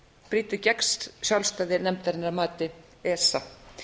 brýtur gegn sjálfstæði nefndarinnar að mati esa